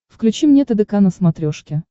включи мне тдк на смотрешке